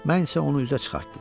Mən isə onu üzə çıxartdım.